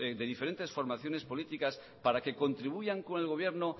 de diferentes formaciones políticas para que contribuyan con el gobierno